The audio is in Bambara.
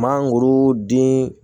Mangoro den